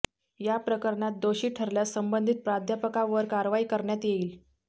या प्रकरणात दोषी ठरल्यास संबंधित प्राध्यापकावर कारवाई करण्यात येईल